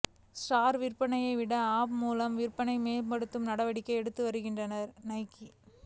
store விற்பனையைவிட app மூலம் விற்பனையை மேம்படுத்த நடவடிக்கைகள் எடுத்து வருகிறது நைக்கி